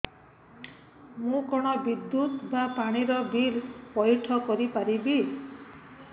ମୁ କଣ ବିଦ୍ୟୁତ ବା ପାଣି ର ବିଲ ପଇଠ କରି ପାରିବି